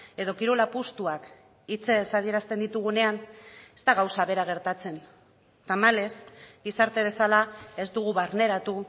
edo kirol apustuak hitzez adierazten ditugunean ez da gauza bera gertatzen tamalez gizarte bezala ez dugu barneratu